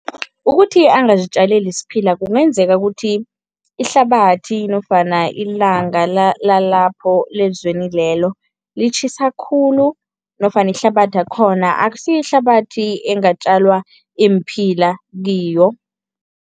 Ukuthi angazitjaleli isiphila kungenzeka ukuthi ihlabathi nofana ilanga lalapho, lezweni lelo litjhisa khulu nofana ihlabathakhona akusiyo ihlabathi engatjalwa iimphila kiyo.